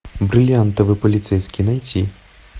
бриллиантовый полицейский найти